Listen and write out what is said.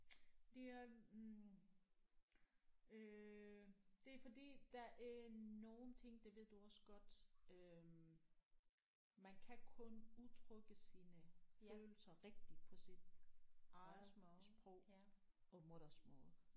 Det er hm øh det er fordi der er nogle ting det ved du også godt øh man kan kun udtrykke sine følelser rigtigt på sit eget sprog og modersmål